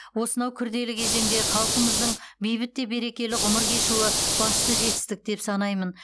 осынау күрделі кезеңде халқымыздың бейбіт те берекелі ғұмыр кешуі басты жетістік деп санаймын